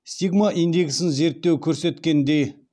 стигма индексін зерттеу көрсеткендей